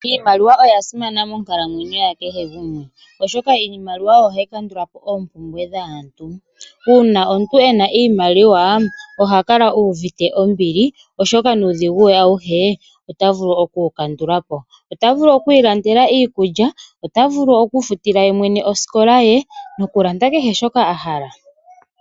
Iimaliwa oya simana monkalamwenyo ya kehe gumwe, oshoka iimaliwa ohayi kandula po oompumbwe dhaantu. Uuna omuntu ena iimaliwa oha kala uvite ombili oshoka nuudhigu we auhe ota vulu okuwu kandula po. Ota vulu okwi ilandela iikulya, ota vulu okwi ifutila ye mwene osikola ye nokulanda kehe shoka a hala.